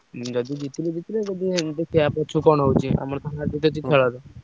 ଯଦି ଜିତିଲେ ଜିତିଲେ ଯଦି ହଉଛି କି କଣ ହଉଛି